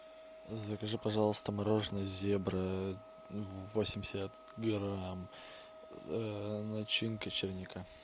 закажи пожалуйста мороженое зебра восемьдесят грамм начинка черника